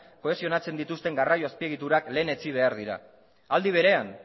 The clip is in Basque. kohesionatzen dituzten garraio azpiegiturak lehenetsi behar dira aldi berean